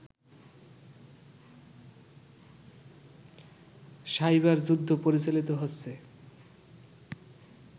cyber যুদ্ধ পরিচালিত হচ্ছে